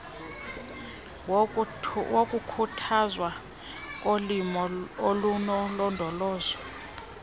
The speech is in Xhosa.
wokukhuthazwa kolimo olunolondolozo